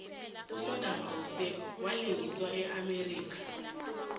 usadam husein walengiselwa eamerica